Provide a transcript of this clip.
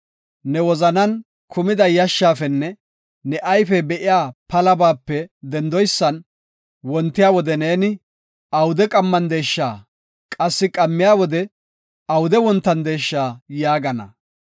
Ne wozanan kumida yashshaafenne ne ayfey be7iya palabaape dendoysan, wontiya wode neeni, “Awude qammandeesha” qassi qammiya wode, “Awude wontandesha” yaagana.